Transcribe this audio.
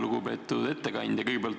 Lugupeetud ettekandja!